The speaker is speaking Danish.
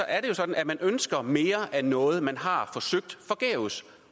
er det jo sådan at man ønsker mere af noget som man har forsøgt forgæves